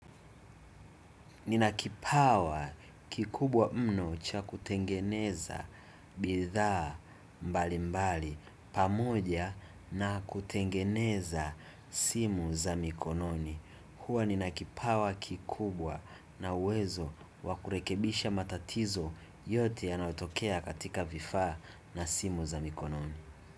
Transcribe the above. Ninakipawa kikubwa mno cha kutengeneza bidhaa mbali mbali pamoja na kutengeneza simu za mikononi. Hua ninakipawa kikubwa na uwezo wakurekebisha matatizo yote ya naotokea katika vifaa na simu za mikononi.